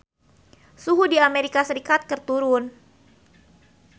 Suhu di Amerika Serikat keur turun